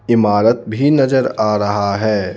इमारत भी नजर आ रहा है.